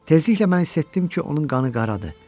Tezliklə mən hiss etdim ki, onun qanı qaradır.